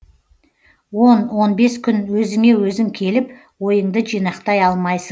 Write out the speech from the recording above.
он он бес күн өзіңе өзің келіп ойыңды жинақтай алмайсың